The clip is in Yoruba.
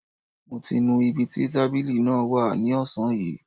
Mo ti nu ibi tí tábìlì náà wà ní ọ̀sán yìí